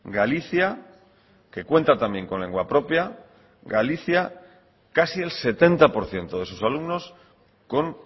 galicia que cuenta también con lengua propia galicia casi el setenta por ciento de sus alumnos con